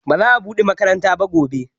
Ba za a buɗe makaranta gobe ba